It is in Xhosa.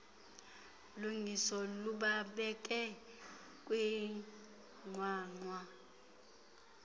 lungiso lubabeke kwinqwanqwa